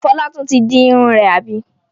Fọlá tún ti di irun rẹ̀, àbí?